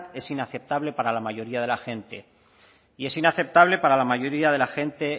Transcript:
es inaceptable para la mayoría de la gente y es inaceptable para la mayoría de la gente